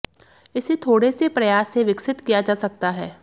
इसे थोड़े से प्रयास से विकसित किया जा सकता है